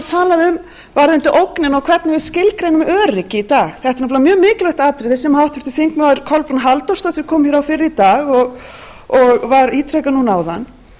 talað um varðandi ógnina og hvernig við skilgreinum öryggi í dag þetta er nefnilega mjög mikilvægt atriði sem háttvirtur þingmaður kolbrún halldórsdóttir kom hér á fyrr í dag og var ítrekað núna áðan